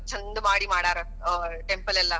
ಚೆಂದ ಮಾಡಿಮಾಡ್ಯಾರ ಆ temple ಎಲ್ಲಾ,